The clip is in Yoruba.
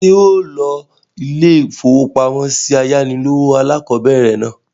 Ṣé ọ lo ilé-ìfowópamọ́sí ayánilówó alákọ̀bẹ̀rẹ̀ náà?